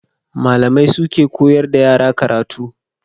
Malamai su ke koyar da yara karatu.